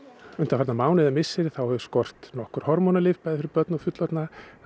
undanfarna mánuði eða misseri þá hefur skort nokkur hormónalyf bæði fyrir börn og fullorðna